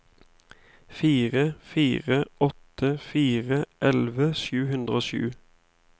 fire fire åtte fire elleve sju hundre og sju